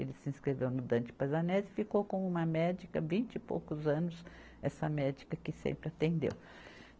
Ele se inscreveu no Dante Pazzanese e ficou com uma médica, vinte e poucos anos, essa médica que sempre atendeu.